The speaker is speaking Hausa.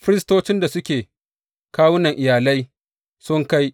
Firistocin da suke kawunan iyalai, sun kai